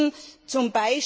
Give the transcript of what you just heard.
Wir müssen z.